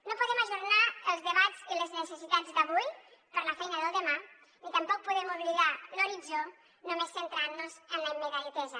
no podem ajornar els debats i les necessitats d’avui per la feina del demà ni tampoc podem oblidar l’horitzó només centrant nos en la immediatesa